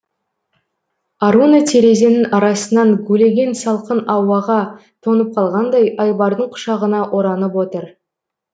аруна терезенің арасынан гулеген салқын ауаға тоңып қалғандай айбардың құшағына оранып отыр